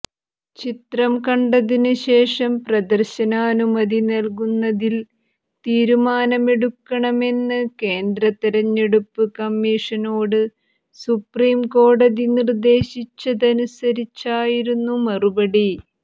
ചിത്രം കണ്ടതിന് ശേഷം പ്രദർശനാനുമതി നൽകുന്നതിൽ തീരുമാനമെടുക്കണമെന്ന് കേന്ദ്ര തെരഞ്ഞെടുപ്പ് കമ്മീഷനോട് സുപ്രീം കോടതി നിർദേശിച്ചതനുസരിച്ചായിരുന്നു നടപടി